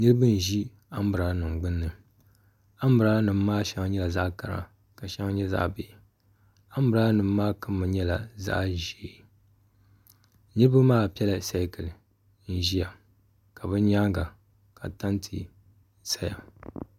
Niraba n ʒi anbirala nim gbunni anbirala nim maa shɛŋa nyɛla zaɣ kara ka shɛŋa nyɛ zaɣ bihi anbirala nim maa kama nyɛla zaɣ ʒiɛ niraba maa piɛla seekili n ʒiya ka bi nyaanga ka tanti saya